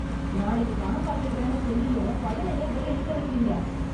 நாளைக்கு பணம் கட்டிடுறேன்னு சொல்லியும் பையன ஏன் வெளியே நிக்க வைக்கிறீங்க